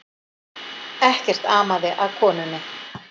Ekkert amaði að konunni